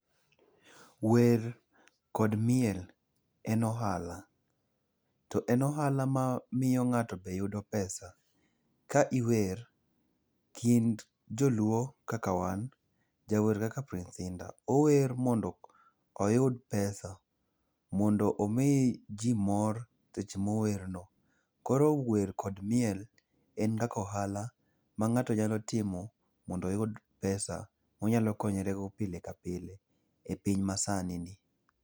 Wer kod miel en ohala. To en ohala mamiyo ng'ato be yudo pesa. Ka iwer kind joluo kaka wan, jawer kaka Prince Indah ower mondo oyud pesa mondo omii jii mor seche mower no.Koro wer kod miel en kaka ohala mang'ato nyalo timo mondo oyud pesa monyalo konyorego pile ka pile e piny masani ni